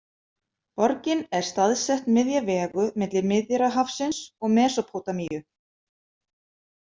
Borgin er staðsett miðja vegu milli Miðjarðarhafsins og Mesópótamíu.